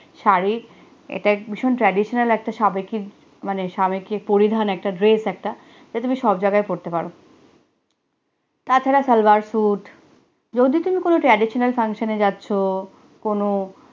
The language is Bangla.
শাড়ি এটা ভীষণ ট্রাডিশনাল একটা সাবেকি মানে স্বামীকে পরিধান একটা ড্রেস একটা জায়গায় পড়তে পারো তাছাড়া সালবার suit, যদি তুমি কোনো traditional function এ যাচ্ছ কোনো